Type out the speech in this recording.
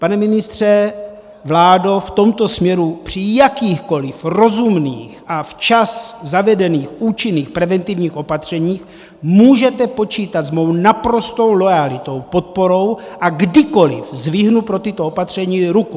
Pane ministře, vládo, v tomto směru při jakýchkoliv rozumných a včas zavedených účinných preventivních opatřeních můžete počítat s mou naprostou loajalitou, podporou a kdykoliv zvednu pro tato opatření ruku.